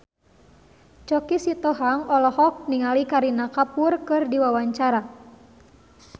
Choky Sitohang olohok ningali Kareena Kapoor keur diwawancara